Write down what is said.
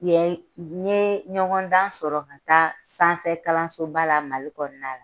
Nye ɲɔgɔndan sɔrɔ ka taa sanfɛ kalansoba la Mali kɔnɔna la.